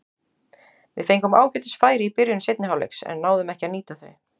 Við fengum ágætis færi í byrjun seinni hálfleiks en náðum ekki að nýta þau.